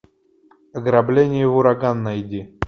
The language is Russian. ограбление в ураган найди